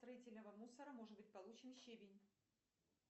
строительного мусора может быть получен щебень